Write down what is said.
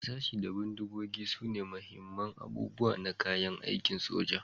Harsashi da bindigogi sune muhimman abubuwa na kayan aikin soja,